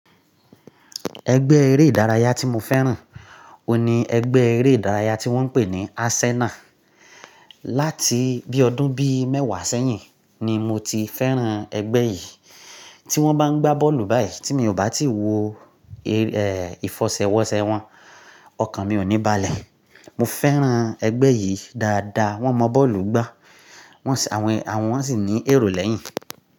Ẹgbẹ́ eré ìdárayá tí mo fẹ́ràn òun ní ẹgbẹ́ eré ìdárayá tí wọ́n ń pè ní Arsenal. Láti bí ọdún bií mẹ́wàá sẹ́yìn ni mo ti fẹ́ràn ẹgbẹ́ yìí. Tí wọ́n bá ń gbá bọ́ọ̀lù báyìí tí mi ò bá ti wo ìfọṣẹwọṣẹ wọ́n, ọkàn mi ò ní balẹ̀. Mo fẹ́ràn ẹgbẹ́ yìí dáadáa, wọ́n mọ bọ́ọ̀lù gbá, wọ́n sì àwọn wọ́n sì ní èrò lẹ́yìn.